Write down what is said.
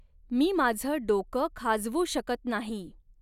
मी माझं डॊकं खाजवू शकत नाही.